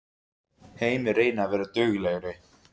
Heimir: Reynið að vera duglegri?